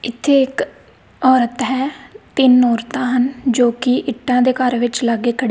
ਇੱਥੇ ਇੱਕ ਔਰਤ ਹੈ ਤਿੰਨ ਔਰਤਾਂ ਹਨ ਜੋਕਿ ਇੱਟਾਂ ਦੇ ਘਰ ਵਿੱਚ ਲਾਗੇ ਖ--